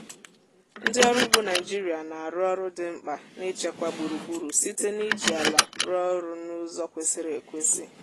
ndị ọrụ ugbo naịjịrịa na-arụ ọrụ dị mkpa n’ichekwa gburugburu site n’iji ala rụọ ọrụ n'ụzọ kwesịrị ekwesị